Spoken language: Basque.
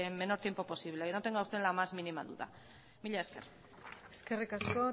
menor tiempo posible no tenga usted la más mínima duda mila esker eskerrik asko